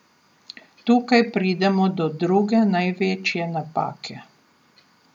Tukaj pridemo do druge največje napake.